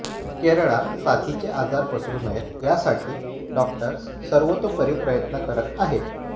केरळात साथीचे आजार पसरु नयेत यासाठी डॉक्टर्स सर्वोतपरी प्रयत्न करत आहेत